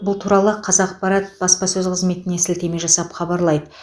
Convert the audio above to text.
бұл туралы қазақпарат баспасөз қызметіне сілтеме жасап хабарлайды